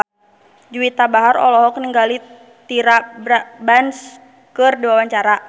Juwita Bahar olohok ningali Tyra Banks keur diwawancara